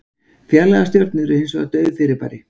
Fjarlægar stjörnur eru hins vegar dauf fyrirbæri.